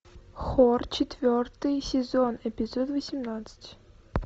хор четвертый сезон эпизод восемнадцать